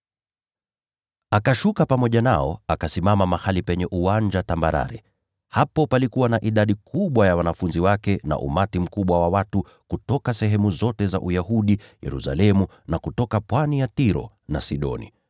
Akashuka pamoja nao, akasimama mahali penye uwanja tambarare. Hapo palikuwa na idadi kubwa ya wanafunzi wake na umati mkubwa wa watu kutoka sehemu zote za Uyahudi, kutoka Yerusalemu, na kutoka pwani ya Tiro na Sidoni.